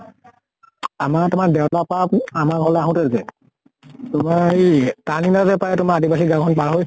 আমাৰ তোমাৰ দেউকা পাৰা আমাৰ ঘৰলে আহোতে যে তোমাৰ এই turning এটা যে পায় তোমাৰ আদিবাসী গাওঁ খন পাৰ হৈ